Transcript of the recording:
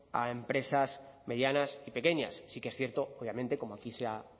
a empresas medianas y pequeñas sí que es cierto obviamente como aquí se ha